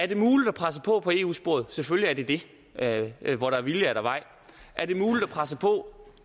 det muligt at presse på på i eu sporet selvfølgelig er det det hvor der er vilje er der vej er det muligt at presse på